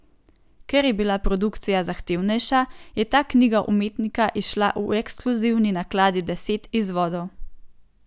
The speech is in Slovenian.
Ker je bila produkcija zahtevnejša, je ta knjiga umetnika izšla v ekskluzivni nakladi deset izvodov.